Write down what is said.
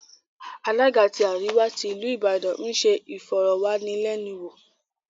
Alága tí àríwá tí ìlú Ìbàdàn ń se ìfọ̀rọ̀wánilẹ́nuwò